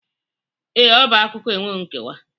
Ee, ọ bụ akụkọ enweghị nkewa